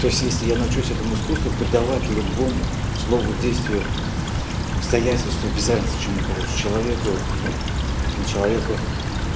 то есть если я научусь этому искусству придавать любому слову действие обстоятельства без разницы чему короче человеку не человеку